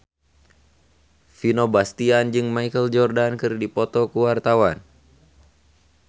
Vino Bastian jeung Michael Jordan keur dipoto ku wartawan